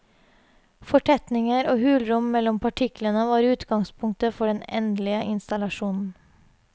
Fortetninger og hulrom mellom partiklene var utgangspunktet for den endelige installasjonen.